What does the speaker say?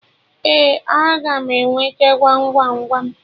Ee, a ga m enweta Gwam Gwam Gwam